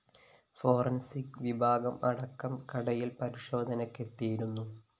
forensic വിഭാഗം അടക്കം കടയില്‍ പരിശോധനയ്‌ക്കെത്തിയിരുന്നു